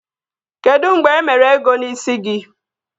Kedụ mgbe e mere ego n'ịsi gị?